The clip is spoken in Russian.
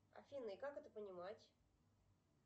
афина и как это понимать